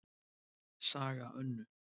Saga Önnu